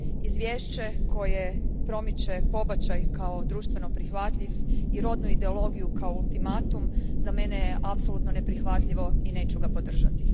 Izvješće koje promiče pobačaj kao društveno prihvatljiv i rodnu ideologiju kao ultimatum, za mene je apsolutno neprihvatljivo i neću ga podržati.